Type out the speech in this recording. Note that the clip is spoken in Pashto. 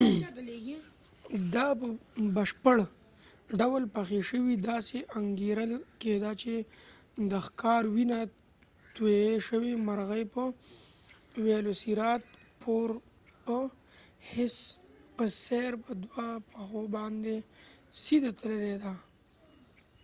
دا په بشپړ ډول پخي شوې داسې انګیرل کیده چې د ښکار وینه تویې شوې مرغۍ په ویلوسیرات پور په څیر په دوو پښو باندې سیده تللې ده